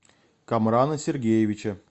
камрана сергеевича